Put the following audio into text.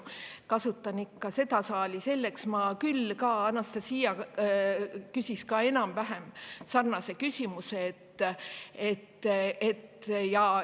Anastassia küsis enam-vähem sarnase küsimuse.